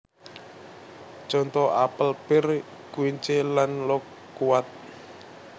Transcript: Conto apel pir quince lan lokuat